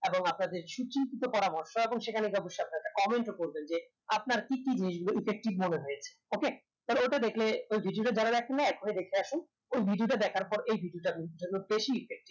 এবং আপনাদের সুচিন্তিত পরামর্শ এবং সেখানে যা বসে আপনারা comment ও করবেন যে আপনার কি কি effective মনে হয়েছে okay তাহলে ওটা দেখলে ঐ video যারা দেখেন নাই এখনি দেখে আসুন ঐ video দেখার পর এই ভিডিওটা আপনাদের জন্য বেশি effective